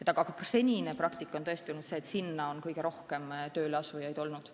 Aga senine praktika on tõesti olnud selline, et sinna on kõige rohkem inimesi tööle asunud.